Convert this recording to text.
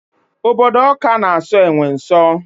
Obodo Ọka na aso enwe nso